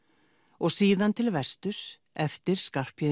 og síðan til vesturs eftir